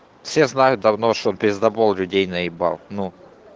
все знают давно чтобы пиздобол людей наебал ну